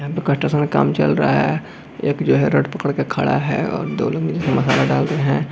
यहां पर कटा सारा काम चल रहा है एक जो है रड पकड़ के खड़ा है और दोनो मिलके मसाला डाल रहे है।